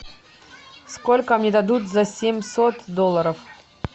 сколько мне дадут за семьсот долларов